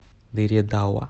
дыре дауа